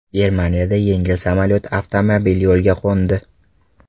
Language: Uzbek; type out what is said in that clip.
Germaniyada yengil samolyot avtomobil yo‘liga qo‘ndi.